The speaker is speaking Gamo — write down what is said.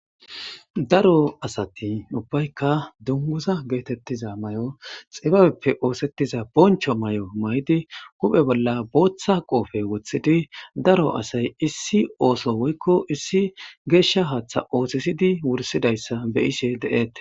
daro asati ubbaykka dunguza geetettiza may7o xibabeppe oosettiza boncho may7o may7di huphe bolla booththa qoofe wothidi daro asay issi ooso woykko issi geeshsha haaththa oothisidi wursidayssa be ishe de7ette